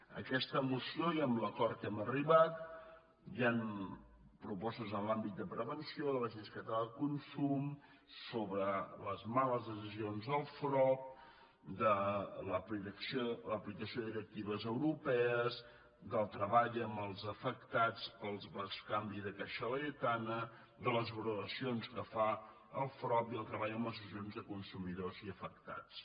en aquesta moció i amb l’acord a què hem arribat hi han propostes en l’àmbit de prevenció de l’agència catalana del consum sobre les males decisions del frob l’aplicació de directives europees de treball amb els afectats pel bescanvi de caixa laietana de les valoracions que fa el frob i el treball amb associ·acions de consumidors i afectats